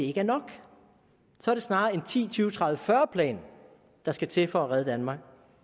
ikke er nok så er det snarere en ti tyve tredive fyrre plan der skal til for at redde danmark